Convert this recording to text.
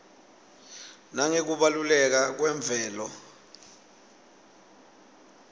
nangekubaluleka kwemvelo